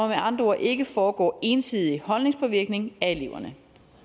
med andre ord ikke foregå ensidig holdningspåvirkning af eleverne